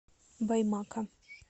баймака